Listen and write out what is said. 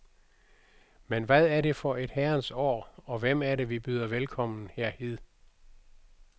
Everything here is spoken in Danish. Men hvad er det for et herrens år, og hvem er det vi byder velkommen her hid?